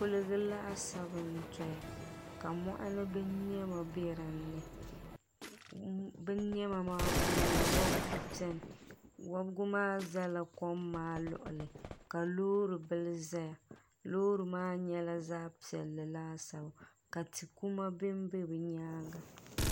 koliga laasabu n-doya ka mɔɣini bininyama be din ni bininyama maa puuni wɔbigu beni wɔbigu maa zala kom maa luɣuli ka loori bila zaya loori maa nyɛla zaɣ' piɛlli laasabu ka ti' kuma be be bɛ nyaaga.